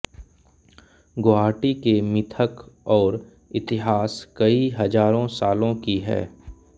गुवाहाटी के मिथक और इतिहास कई हजारों सालो की है